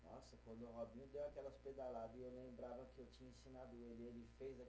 Nossa, quando o Robinho deu aquelas pedalada e eu lembrava que eu tinha ensinado ele, e ele fez a